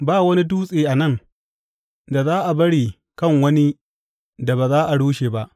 Ba wani dutse a nan, da za a bari kan wani da ba za a rushe ba.